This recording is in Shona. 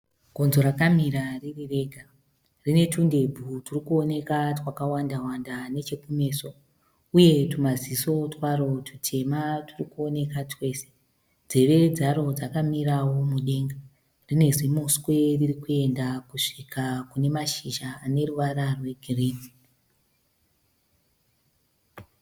Gonzo rakamira riri rega. Rine tundebvu turi kuoneka twakawanda wanda neche kumeso, uye twumaziso twaro tutema turi kuoneka twese. Nzeve dzaro dzakamirawo mudenga. Rine zimuswe ririkuyenda kusvika kune mashizha ane ruvara rwegirini.